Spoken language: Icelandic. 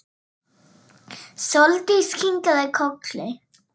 Sóldís kinkaði kolli.